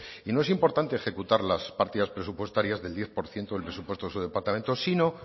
y no es importante ejecutar las partidas presupuestarias del diez por ciento del presupuesto de su departamento sino